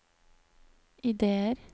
ideer